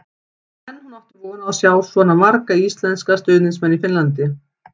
En átti hún von á að sjá svona marga íslenska stuðningsmenn í Finnlandi?